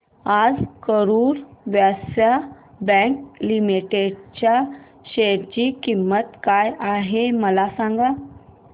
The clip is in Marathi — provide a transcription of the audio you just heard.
आज करूर व्यास्य बँक लिमिटेड च्या शेअर ची किंमत काय आहे मला सांगा